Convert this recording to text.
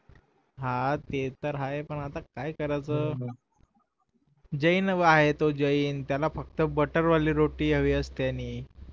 हा ते तर आहे पण आता काय करायचं जैन आहे तो जैन त्याला फक्त बटर वाली रोटी हवी असते आणि